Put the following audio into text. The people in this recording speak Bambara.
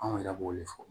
Anw yɛrɛ b'o de fɔ